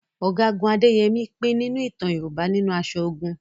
Ọ̀gágun Adéyẹmi pín nínú ìtàn Yorùbá nínú aṣọ ogun